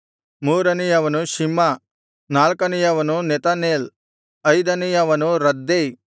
ಮೂರನೆಯವನು Shimma ನಾಲ್ಕನೆಯವನು Nethaneel ಐದನೆಯವನು Raddai